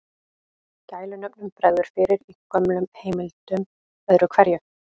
Gælunöfnum bregður fyrir í gömlum heimildum öðru hverju.